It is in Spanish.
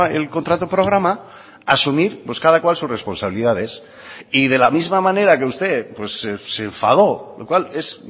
el contrato programa asumir cada cual sus responsabilidades y de la misma manera que usted se enfadó lo cual es